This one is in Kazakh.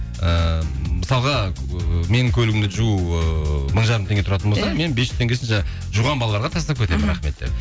ііі мысалға ы менің көлігімді жуу ыыы мың жарым теңге тұратын болатын болса мен бес жүз теңгесін жуған балаларға тастап кетемін рахмет деп